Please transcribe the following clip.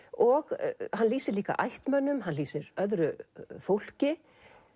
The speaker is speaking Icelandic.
og hann lýsir líka ættmennum hann lýsir öðru fólki